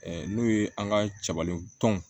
N'o ye an ka cɛbalintɔn